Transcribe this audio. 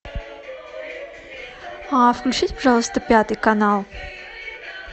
включите пожалуйста пятый канал